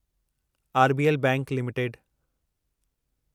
RBL bank limited